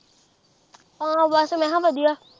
ਹਾਂ ਬਸ ਮੈਂ ਹਾਂ ਵਧੀਆ।